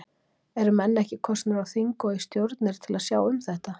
Eru menn ekki kosnir á þing og í stjórnir til að sjá um þetta?